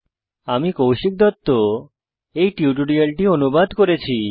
আমি কৌশিক দত্ত টিউটোরিয়ালটি অনুবাদ করেছি